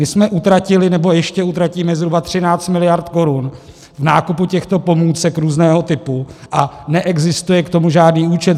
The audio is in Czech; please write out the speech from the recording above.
My jsme utratili, nebo ještě utratíme, zhruba 13 mld. korun v nákupu těchto pomůcek různého typu a neexistuje k tomu žádný účet.